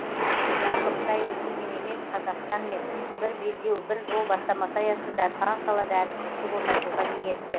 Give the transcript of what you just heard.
жалпы қытай өзгемен емес қазақстанмен бір белдеу бір жол бастамасы аясында сан салада әріптестік орнатуға ниетті